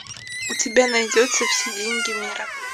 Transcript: у тебя найдется все деньги мира